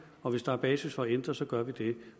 og hvis der er basis for at ændre noget så gør vi det